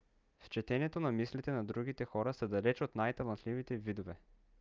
в четенето на мислите на другите хората са далеч най-талантливите видове